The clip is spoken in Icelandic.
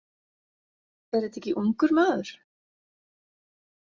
Er þetta ekki ungur maður?